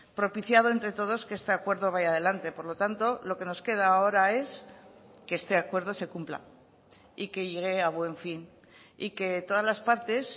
propiciado entre todos que este acuerdo vaya adelante por lo tanto lo que nos queda ahora es que este acuerdo se cumpla y que llegue a buen fin y que todas las partes